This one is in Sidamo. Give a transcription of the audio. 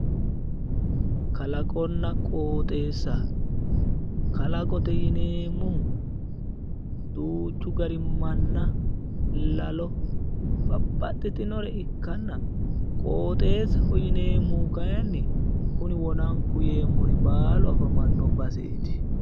Kalaqonna qooxeessa, kalawote yineemmohu duuchu gari manna lalo babbaxxitinore ikkanna qooxeessaho yineemmohu kayiinni kuni wonanku yeemmori baalunku afamanno baseeti.